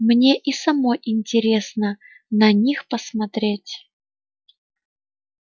мне и самой интересно на них посмотреть